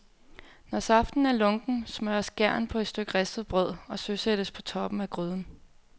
Når saften er lunken, smørres gæren på et stykke ristet brød og søsættes på toppen af gryden.